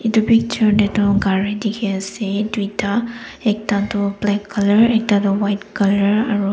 etu picture de tho gari dikhi ase tuita ekta tho black color ekta tho white color aro--